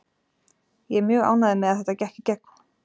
Ég er mjög ánægður með að þetta gekk í gegn.